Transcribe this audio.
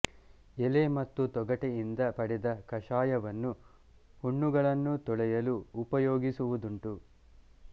ಎಲೆ ಮತ್ತು ತೊಗಟೆಯಿಂದ ಪಡೆದ ಕಷಾಯವನ್ನು ಹುಣ್ಣುಗಳನ್ನು ತೊಳೆಯಲು ಉಪಯೋಗಿಸುವುದುಂಟು